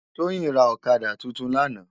Toyin rá òkàdá tútún làná